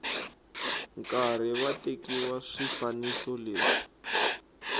karhi va tekiwa swifaniso leswi